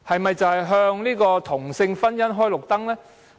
有否向同性婚姻"開綠燈"？